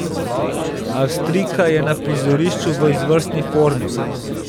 Avstrijka je na prizorišču v izvrstni formi.